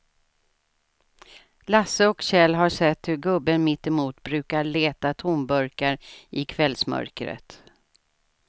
Lasse och Kjell har sett hur gubben mittemot brukar leta tomburkar i kvällsmörkret.